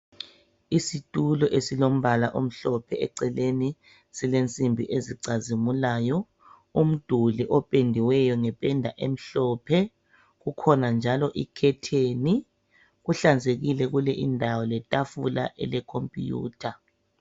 Isitulo esilombala omhlophe eceleni silensimbi ezicazimulayo. Umduli ophendiweyo ngependa emhlophe kukhona njalo ikhetheni kuhlanzekile kule indawo letafula elilekhompiyutha.